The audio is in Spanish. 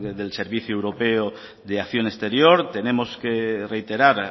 del servicio europeo de acción exterior tenemos que reiterar